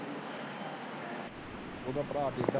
ਉਹਦਾ ਭਰਾ ਬੀਬਾ।